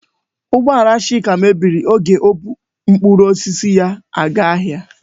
Ụgbọala Chika mebiri oge ọ bụ mkpụrụ osisi ya aga ahịa.